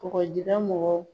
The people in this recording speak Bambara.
Kɔgɔjida mɔgɔw